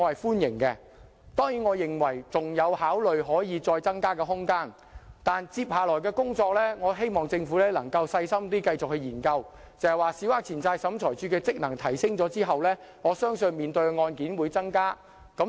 當然，我認為上限仍有增加的空間，但接下來，我希望政府能繼續細心研究，小額錢債審裁處的職能提升後，我相信審理的案件會增加。